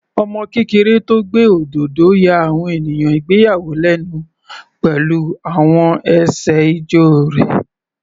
Ọmọ kékeré tó gbé òdodo ya àwọn ènìyàn ìgbéyàwó lẹ́nu pẹ̀lú àwọn ẹsẹ̀ ijó rẹ̀.